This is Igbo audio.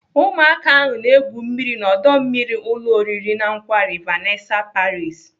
Ụmụaka ahụ na-egwu mmiri n'ọdọ mmiri ụlọ oriri na nkwari Vanessa Paris.